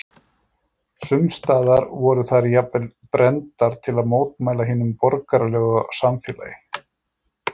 sums staðar voru þær jafnvel brenndar til að mótmæla hinu borgaralega samfélagi